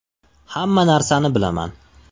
Hamma narsani bilaman.